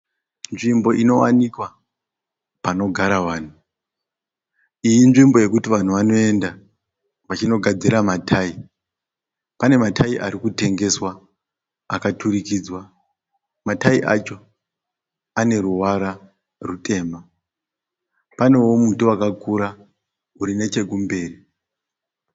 Nzvimbo inowanikwa panogara vanhu. Iyi inzvimbo yekuti vanhu vanoenda vachino gadzira ma tayi. Pane matai arikutengeswa akaturikidzwa , ma tayi acho ane ruvara rutema. Panewo muti wakakura uri nechekumberi.